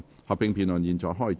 合併辯論現在開始。